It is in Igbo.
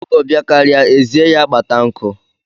Ọgọ bịakarịa, e zie ya kpata nkụ